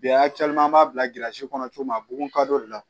Bi a caman b'a bilasira cogo min na bugun kadɔw de la